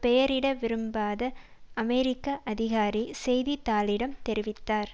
பெயரிட விரும்பாத அமெரிக்க அதிகாரி செய்தி தாளிடம் தெரிவித்தார்